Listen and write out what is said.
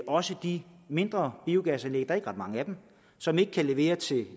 også de mindre biogasanlæg der er ikke ret mange af dem som ikke kan levere til